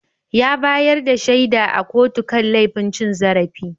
Ya bayar da shaida a kotu kan laifin cin zarafi.